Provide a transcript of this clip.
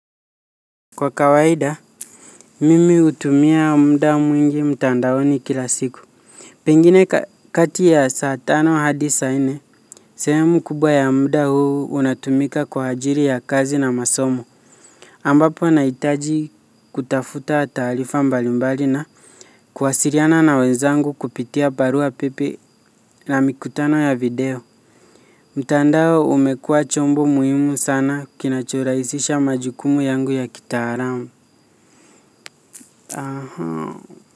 Kwa kawaida, mimi hutumia muda mwingi mtandaoni kila siku. Pengine kati ya saa tano hadi saa nne. Sehemu kubwa ya muda huu unatumika kwa ajili ya kazi na masomo. Ambapo nahitaji kutafuta taarifa mbalimbali na kuwasiliana na wenzangu kupitia barua pepe na mikutano ya video. Mtandao umekua chombo muhimu sana kinachoraisisha majukumu yangu ya kitalamu.